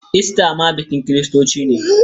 Ista ma bikin kiristoci ne.